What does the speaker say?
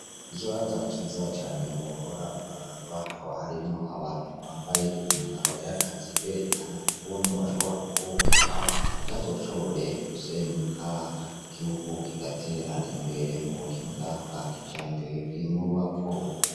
Ikibanza ciza cane wohora uraraba akaba harimwo abantu bambaye imyambaro y'akaziberekana ukuntu bashobora kuwobaka ntiyazoshobore gusenyuka ryiugu kigatera imbere mu buhinga bwa kija mbere bw'inyubako.